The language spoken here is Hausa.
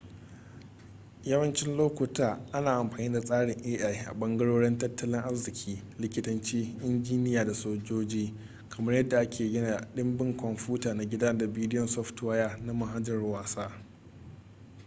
yawacin lokuta ana amfani da tsarin ai a bangarorin tattalin arziki likitanci injiniya da sojoji kamar yadda aka gina cikin ɗimbin komfuta na gida da bidiyon softwaya na mahanjar wasa